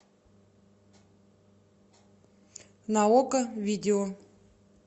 на окко видео